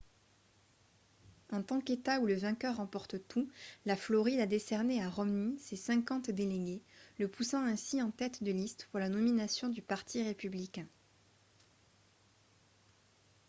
en tant qu'état où le vainqueur remporte tout la floride a décerné à romney ses cinquante délégués le poussant ainsi en tête de liste pour la nomination du parti républicain